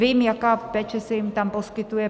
Vím, jaká péče se jim tam poskytuje.